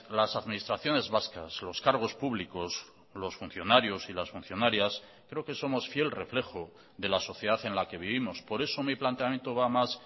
las administraciones vascas los cargos públicos los funcionarios y las funcionarias creo que somos fiel reflejo de la sociedad en la que vivimos por eso mi planteamiento va más